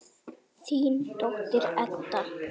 Þín dóttir, Edda.